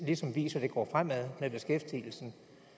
ligesom viser at det går fremad med beskæftigelsen